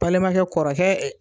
Balimankɛ kɔrɔkɛ